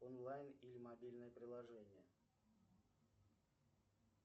онлайн или мобильное приложение